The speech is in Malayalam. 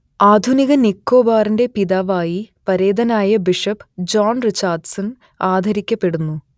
ആധുനിക നിക്കോബാറിന്റെ പിതാവായി പരേതനായ ബിഷപ്പ് ജോൺ റിച്ചാർഡ്സൺ ആദരിക്കപ്പെടുന്നു